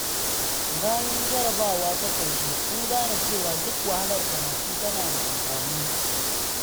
Bayan jarrabawa ta ƙarshe, sun gane cewa duk wahalar karatu tana da amfani.